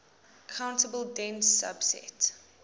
countable dense subset